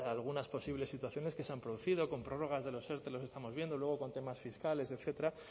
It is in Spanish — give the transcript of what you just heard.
algunas posibles situaciones que se han producido con prórrogas de los erte los estamos viendo luego con temas fiscales etcétera